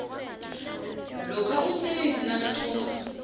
lokha umsebenzi nakathoma